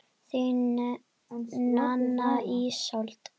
Þín, Nanna Ísold.